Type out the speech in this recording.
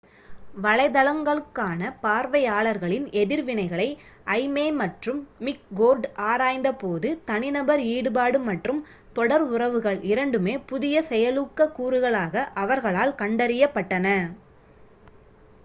"வலைதளங்களுக்கான பார்வையாளர்களின் எதிர்வினைகளை ஐமே மற்றும் மிக்கோர்டு ஆராய்ந்த போது "தனிநபர் ஈடுபாடு" மற்றும் தொடர் உறவுகள்" இரண்டுமே புதிய செயலூக்க கூறுகளாக அவர்களால் கண்டறியப்பட்டன.